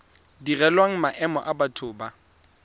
direlwang maemo a batho ba